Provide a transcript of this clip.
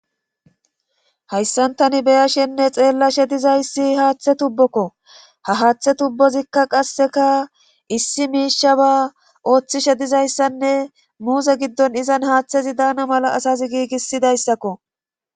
Hayssantani beyashenne xeellashe dizayssi haaththe tubbokko ha haaththe tubbozikka qasseka issi miisha ba ooththishe dizayssanne muuse giddon izan haaththezi daana mala asazi giigisidayssakko.